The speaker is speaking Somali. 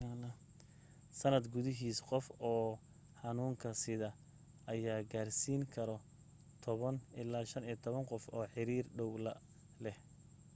sanad gudihiisa qof oo xanuunka sida ayaa gaarsiin karo 10 ilaa 15 qof oo xiriir dhaw la leh